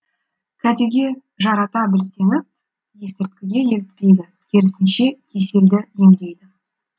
кәдеге жарата білсеңіз есірткіге елітпейді керісінше кеселді емдейді